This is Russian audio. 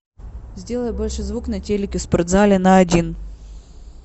сделай больше звук на телике в спортзале на один